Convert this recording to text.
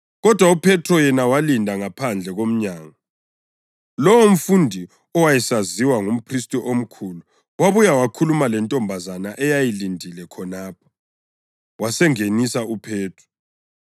kodwa uPhethro yena walinda ngaphandle komnyango. Lowomfundi owayesaziwa ngumphristi omkhulu wabuya wakhuluma lentombazana eyayilindile khonapho, wasengenisa uPhethro.